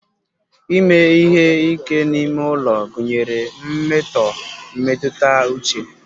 Ime ihe ike n'ime ulo gunyere mmeto mmetuta uche.